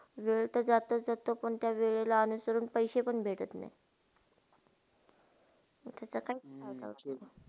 वेळ त जस्त -जस्त कोणत्या वेळीला आलातर पायशे पण भेटात नय मंग कसा काय चालयाचा.